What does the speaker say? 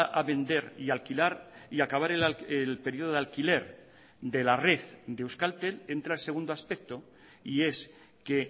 a vender y alquilar y acabar el periodo de alquiler de la red de euskaltel entra el segundo aspecto y es que